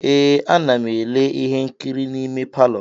Ee, a na m ele ihe nkiri n'ime palọ.